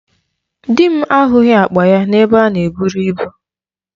Di m ahụghị akpa ya n'ebe a na eburu ibu.